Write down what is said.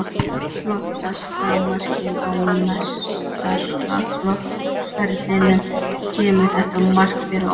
Flottasta markið á meistaraflokksferlinum Kemur þetta mark þér á óvart?